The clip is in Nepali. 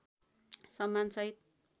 सम्मान सहित